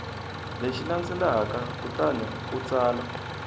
lexi landzelaka kutani u tsala